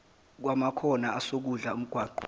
kwamakhona esokudla omgwaqo